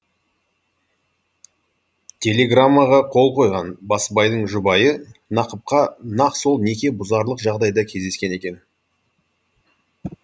телеграммаға қол қойған басбайдың жұбайы нақыпқа нақ сол неке бұзарлық жағдайда кездескен екен